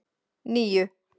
níu